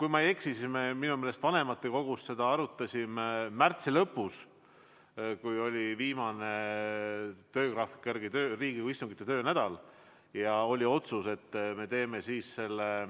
Kui ma ei eksi, siis vanematekogus me arutasime seda märtsi lõpus, kui meil oli töögraafiku järgi Riigikogus kuu viimane istunginädalal, ja tookordne otsus oli selline, et me teeme